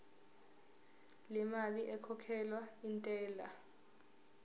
lemali ekhokhelwa intela